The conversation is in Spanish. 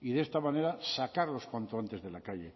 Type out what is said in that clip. y de esta manera sacarlos cuanto antes de la calle